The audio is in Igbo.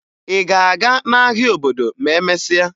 Ị ga-aga n'ahịa obodo ma emesịa?